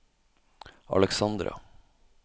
Alexandra